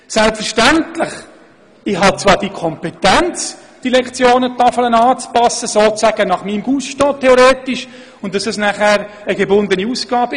Ich habe zwar theoretisch die Kompetenz, die Lektionentafel gewissermassen nach meinem Gusto anzupassen, und das wäre dann eine gebundene Ausgabe.